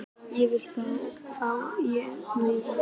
Ég vil fá að heimsækja þig.